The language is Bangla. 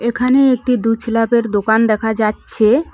এখানে একটি দু ছেলাবের দোকান দেখা যাচ্ছে।